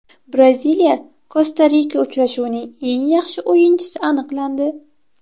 BraziliyaKosta-Rika uchrashuvining eng yaxshi o‘yinchisi aniqlandi.